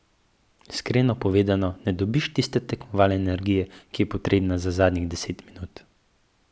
Iskreno povedano, ne dobiš tiste tekmovalne energije, ki je potrebna za zadnjih deset minut.